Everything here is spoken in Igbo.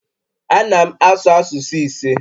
Ana m asụ asụsụ ise